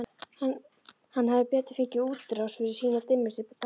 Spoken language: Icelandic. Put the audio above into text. Hann hefði betur fengið útrás fyrir sína dimmustu þanka.